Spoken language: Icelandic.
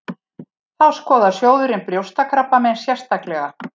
Þá skoðar sjóðurinn brjóstakrabbamein sérstaklega